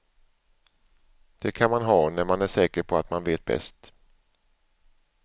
Det kan man ha när man är säker på att man vet bäst.